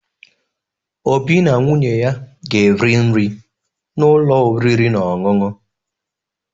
Obi na nwunye ya ga-eri nri n’ụlọ oriri na ọṅụṅụ.